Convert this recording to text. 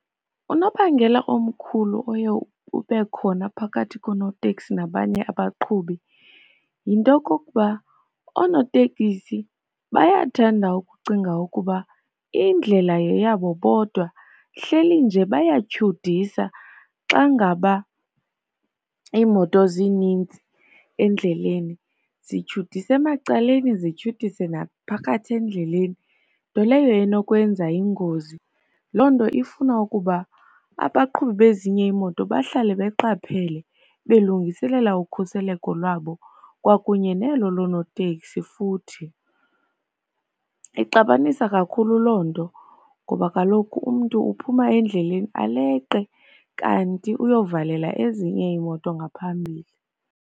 Unobangela omkhulu oye ube khona phakathi konoteksi nabanye abaqhubi yinto yokokuba oonotekisi bayathanda ukucinga ukuba indlela yeyabo bodwa. Hleli nje bayatyudisa, xa ngaba iimoto zinintsi endleleni. Zithyudisa emacaleni, zihyudise naphakathi endleleni, nto leyo enokwenza ingozi. Loo nto ifuna ukuba abaqhubi bezinye imoto bahlale beqaphele, belungiselela ukhuseleko lwabo kwakunye nelo loonoteksi futhi. Ixabanisa kakhulu loo nto ngoba kaloku umntu uphuma endleleni aleqe kanti uyovalela ezinye iimoto ngaphambili.